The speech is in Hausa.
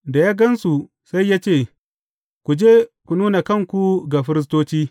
Da ya gan su sai ya ce, Ku je ku nuna kanku ga firistoci.